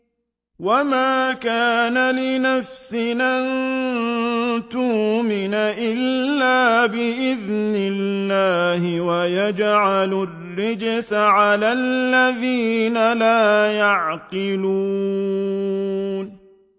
وَمَا كَانَ لِنَفْسٍ أَن تُؤْمِنَ إِلَّا بِإِذْنِ اللَّهِ ۚ وَيَجْعَلُ الرِّجْسَ عَلَى الَّذِينَ لَا يَعْقِلُونَ